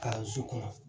Kalanso kɔnɔ